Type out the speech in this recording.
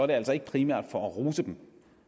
det altså ikke primært for at rose dem